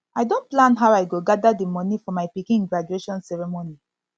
i don plan how i go gather di money for my pikin graduation ceremony